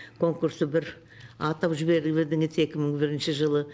конкрусты бір атап жіберіп едіңіз екі мың бірінші жылы